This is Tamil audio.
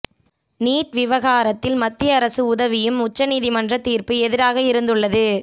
நீட் விவகாரத்தில் மத்திய அரசு உதவியும் உச்சநீதிமன்ற தீர்ப்பு எதிராக இருந்துள்ளது